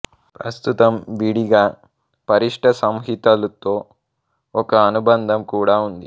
ప్రస్తుతం విడిగా పరిష్ట సంహితలుతో ఒక అనుబంధం కూడా ఉంది